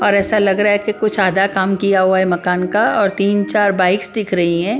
और ऐसा लग रहा है कि कुछ आधा काम किया हुआ है मकान का और तीन चार बाइक्स दिख रही है ।